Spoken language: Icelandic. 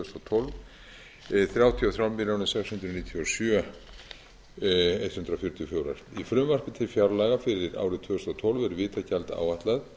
þúsund og tólf þrjátíu og þrjár milljónir sex hundruð níutíu og sjö þúsund hundrað fjörutíu og fjórar krónur í frumvarpi til fjárlaga fyrir árið tvö þúsund og tólf er vitagjald áætlað